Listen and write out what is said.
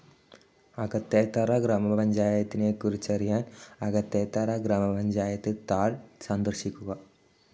അകത്തേത്തറ ഗ്രാമപഞ്ചായത്തിനെക്കുറിച്ചറിയാൻ അകത്തേത്തറ ഗ്രാമപഞ്ചായത്ത് താൾ സന്ദർശിക്കുക.